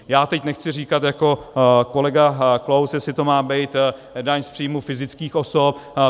Já teď nechci říkat jako kolega Klaus, jestli to má být daň z příjmů fyzických osob.